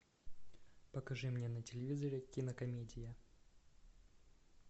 покажи мне на телевизоре кинокомедия